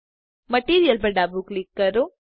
material પર ડાબું click કરો